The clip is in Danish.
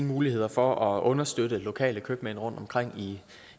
muligheder for at understøtte lokale købmænd rundtomkring